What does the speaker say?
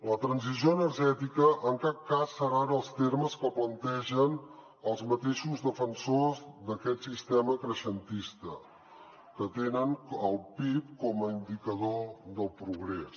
la transició energètica en cap cas serà en els termes que plantegen els mateixos defensors d’aquest sistema creixentista que tenen el pib com a indicador del progrés